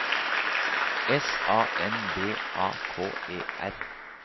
S A N D A K E R